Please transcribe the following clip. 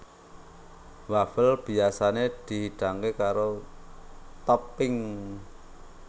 Wafel biyasané dihidangké karo topping